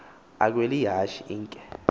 akhwel ihashe inkhe